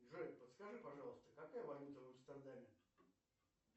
джой подскажи пожалуйста какая валюта в амстердаме